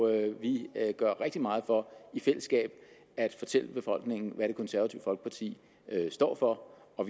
at vi gør rigtig meget for i fællesskab at fortælle befolkningen hvad det konservative folkeparti står for og